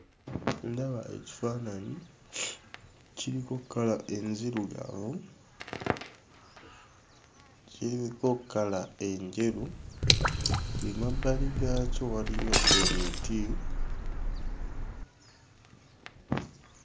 Ndaba ekifaananyi, kiriko kkala enzirugavu, kiriko kala enjeru, ng'emabbali gaakyo waliyo emiti.